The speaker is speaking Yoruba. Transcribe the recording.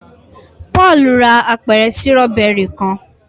Paul rà apẹrẹ Sírọ́bẹ́rì kán